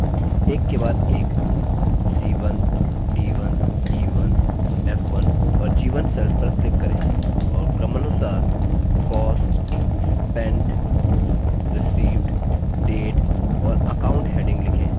उसी तरह एक के बाद एक c1 c1 c1 c1 और c1 cells पर click करें और क्रमानुसार cost spent received date और account headings लिखें